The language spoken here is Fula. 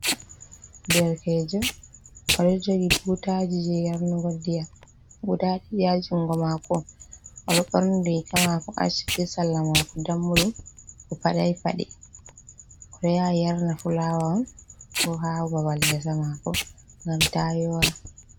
Ɗerkejo odo jogi butaji je yarnugo nɗiyam guɗa Ɗiɗi ha jugo mako. Oɗo burni riga mako ash be salla mako dammuɗum. O paɗai paɗe. Oɗo yaha yarna fulawa on ko ha babal gesa mako gam ta yora.